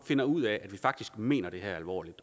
finder ud af at vi faktisk mener det her alvorligt